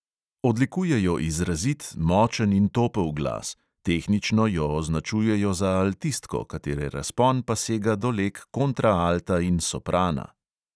Odlikuje jo izrazit, močen in topel glas; tehnično jo označujejo za altistko, katere razpon pa sega do leg kontraalta in soprana.